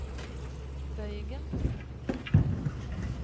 bøygen